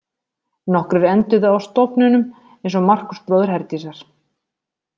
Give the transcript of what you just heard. Nokkrir enduðu á stofnunum eins og Markús bróðir Herdísar.